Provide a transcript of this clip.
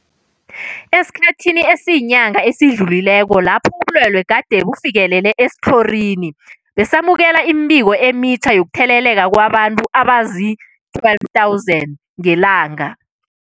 Esikhathini esiyinyanga esidlulileko lapho ubulwele gade bufikelele esitlhorini, besamukela imibiko emitjha yokutheleleka kwabantu abazii-12 000 ngelanga.